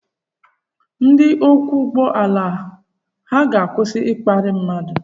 Ndị ọkwọ ụgbọ ala ha ga-akwụsị ịkparị mmadụ?